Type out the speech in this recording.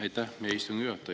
Aitäh, hea istungi juhataja!